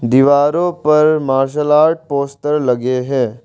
दीवारों पर martial art poster लगे हैं।